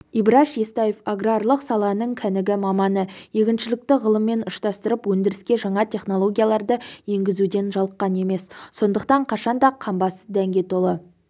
ибраш естаев аграрлық саланың кәнігі маманы егіншілікті ғылыммен ұштастырып өндіріске жаңа технологияларды енгізуден жалыққан емес сондықтан қашан да қамбасы дәнге толы